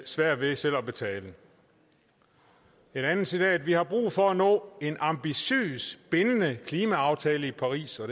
svært ved selv at betale et andet citat er vi har brug for at nå en ambitiøs bindende klimaaftale i paris og